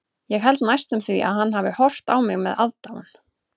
Ég held næstum því að hann hafi horft á mig með aðdáun.